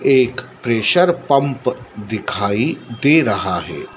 एक pressure pump दिखाई दे रहा है।